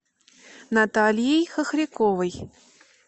натальей хохряковой